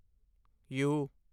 you